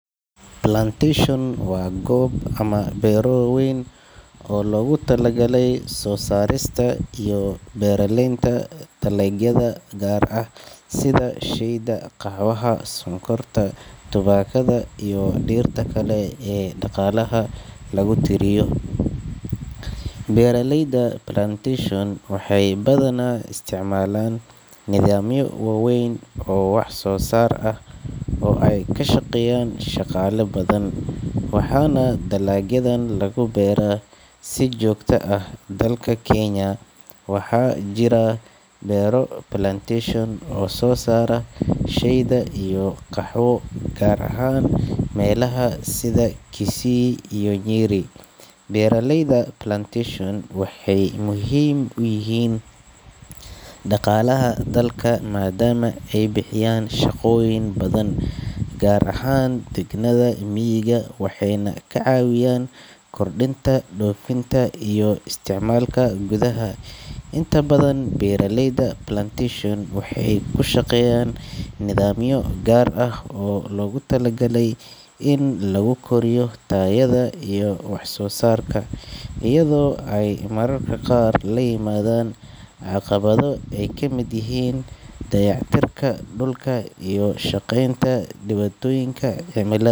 Plantation waa goob ama beero waaweyn oo loogu talagalay soo saarista iyo beeralaynta dalagyada gaar ah sida shayda, qaxwaha, sonkorta, tubaakada, iyo dhirta kale ee dhaqaalaha lagu tiriyo. Beeraleyda plantation waxay badanaa isticmaalaan nidaamyo waaweyn oo wax soo saar ah oo ay ku shaqeeyaan shaqaale badan, waxaana dalagyadan lagu beeraa si joogto ah. Dalka Kenya, waxaa jira beero plantation oo soo saara shayda iyo qaxwo, gaar ahaan meelaha sida Kisii iyo Nyeri. Beeraleyda plantation waxay muhiim u yihiin dhaqaalaha dalka, maadaama ay bixiyaan shaqooyin badan, gaar ahaan deegaanada miyiga, waxayna ka caawiyaan kordhinta dhoofinta iyo isticmaalka gudaha. Inta badan, beeraleyda plantation waxay ku shaqeeyaan nidaamyo gaar ah oo loogu talagalay in lagu koriyo tayada iyo wax-soo-saarka, iyadoo ay mararka qaar la yimaadaan caqabado ay ka mid yihiin dayactirka dhulka iyo ka shaqeynta dhibaatooyinka cimilada. Inkastoo ay beeraleyda plantation.